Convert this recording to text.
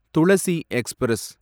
Thulasi express